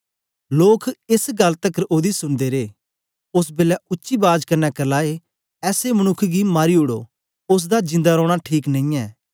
लोक एस गल्ल तकर ओदी सुनदे रे ओस बेलै उच्ची बाज कन्ने करलाए ऐसे मनुक्ख गी मारी उडो ओसदा जिंदा रौना ठीक नेईयैं